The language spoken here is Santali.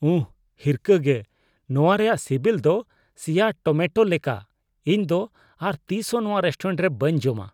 ᱩᱦ ! ᱦᱤᱨᱠᱷᱟᱹᱜᱮ ! ᱱᱚᱣᱟ ᱨᱮᱭᱟᱜ ᱥᱤᱵᱤᱞ ᱫᱚ ᱥᱤᱭᱟ ᱴᱚᱢᱮᱴᱳ ᱞᱮᱠᱟ, ᱤᱧ ᱫᱚ ᱟᱨ ᱛᱤᱥ ᱦᱚᱸ ᱱᱚᱣᱟ ᱨᱮᱥᱴᱩᱨᱮᱱᱴ ᱨᱮ ᱵᱟᱹᱧ ᱡᱚᱢᱟ ᱾